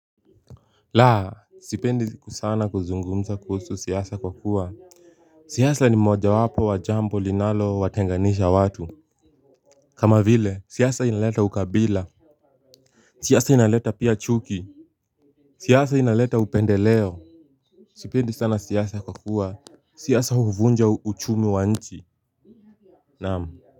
Laa, sipendi sana kuzungumza kuhusu siasa kwa kuwa siasa ni moja wapo wa jambo linalowatenganisha watu. Kama vile, siasa inaleta ukabila. Siasa inaleta pia chuki. Siyasa inaleta upendeleo. Sipendi sana siyasa kwa kuwa siyasa huvunja uchumi wa nchi. Naam.